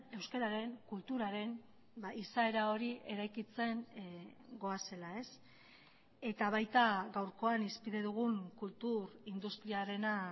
euskararen kulturaren izaera hori eraikitzen goazela eta baita gaurkoan hizpide dugun kultur industriarena